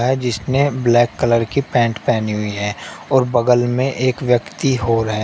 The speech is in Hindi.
आ जिसने ब्लैक कलर की पैंट पेहनी हुई है और बगल में एक व्यक्ती होर है।